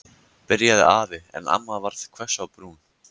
byrjaði afi en amma varð hvöss á brún.